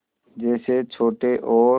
जैसे छोटे और